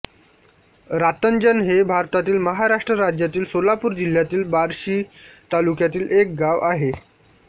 रातंजण हे भारतातील महाराष्ट्र राज्यातील सोलापूर जिल्ह्यातील बार्शी तालुक्यातील एक गाव आहे